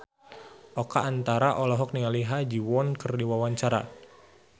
Oka Antara olohok ningali Ha Ji Won keur diwawancara